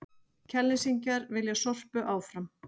Kjalnesingar vilja Sorpu áfram